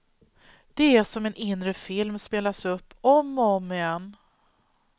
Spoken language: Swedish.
Det är som om en inre film spelas upp om och om igen.